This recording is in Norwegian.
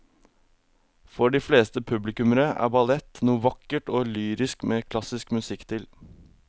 For de fleste publikummere er ballett noe vakkert og lyrisk med klassisk musikk til.